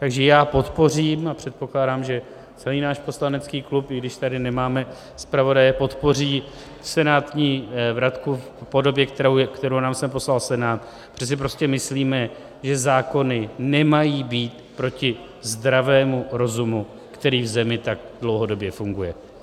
Takže já podpořím, a předpokládám, že celý náš poslanecký klub, i když tady nemáme zpravodaje, podpoří senátní vratku v podobě, kterou nám sem poslal Senát, protože si prostě myslíme, že zákony nemají být proti zdravému rozumu, který v zemi tak dlouhodobě funguje.